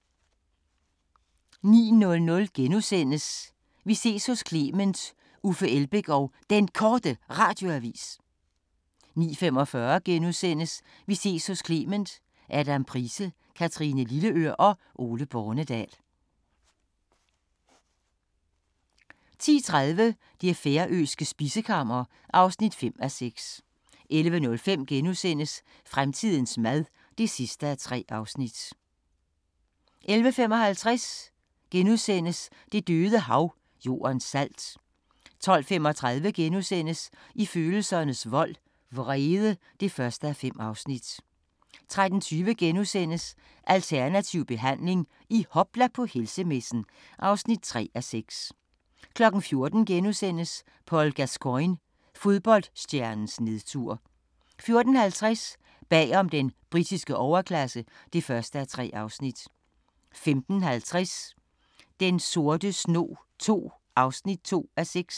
09:00: Vi ses hos Clement: Uffe Elbæk og Den Korte Radioavis * 09:45: Vi ses hos Clement: : Adam Price, Kathrine Lilleør og Ole Bornedal * 10:30: Det færøske spisekammer (5:6) 11:05: Fremtidens mad (3:3)* 11:55: Det Døde Hav – Jordens salt * 12:35: I følelsernes vold – Vrede (1:5)* 13:20: Alternativ behandling – i hopla på helsemessen (3:6)* 14:00: Paul Gascoigne – fodboldstjernens nedtur * 14:50: Bag om den britiske overklasse (1:3) 15:50: Den sorte snog II (2:6)